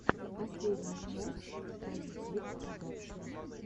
последняя часть позитивпродакшн